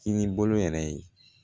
Kinibolo yɛrɛ ye